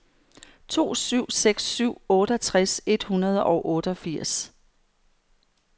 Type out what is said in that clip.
to syv seks syv otteogtres et hundrede og otteogfirs